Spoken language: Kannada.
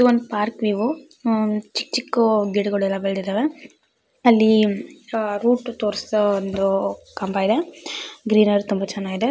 ಒಂದು ಪಾರ್ಕ್ ವೀವ ಆಗಿದೆ ಚಿಕ್ಕ ಚಿಕ್ಕ ಗಿಡಗಳು ಬೆಳೆದಿದ್ದಾವೆ ಅಲ್ಲಿ ರೂಟ್ ತೋರ್ಸೋ ಒಂದು ಕಂಬ ಇದೆ ಗ್ರೀನರಿ ತುಂಬಾ ಚೆನ್ನಾಗಿದೆ.